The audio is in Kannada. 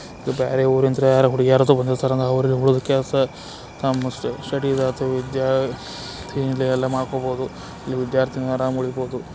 ಬೇರೆ ಊರಿಂದ ಯಾರೋ ಹುಡುಗಿಯರು ಬಂದಿರುತ್ತಾರೆ ಅವ್ರ್ಗೆ ಉಳಿದ ಕೆಲಸ ನಮಿಗೆ ಶೆಡ್ಯೂಲ್ ಲ್ಲೂ ಅಥವಾ ವಿದ್ಯಾ ತಿಂಡಿಯಲ್ಲ ಮಾಡ್ ಕೊಡಬಹುದು ವಿದ್ಯಾರ್ಥಿಗಳು ಎಲ್ಲಾ ಆರಾಮ್ ಇರಬಹುದು.